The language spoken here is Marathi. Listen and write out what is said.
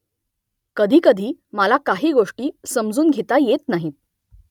कधीकधी मला काही गोष्टी समजून घेता येत नाहीत